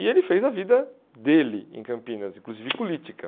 E ele fez a vida dele em Campinas, inclusive política.